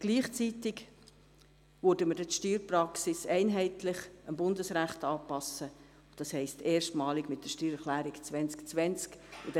Gleichzeitig werden wir die Steuerpraxis einheitlich gemäss dem Bundesrecht anpassen, das heisst erstmalig mit der Steuererklärung 2020.